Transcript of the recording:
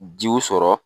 Jiw sɔrɔ